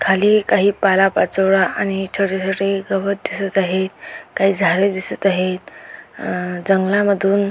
खाली काही पालापाचोळा आणि छोटे छोटे गवत दिसत आहे काही झाडे दिसत आहेत अ जंगलामधून--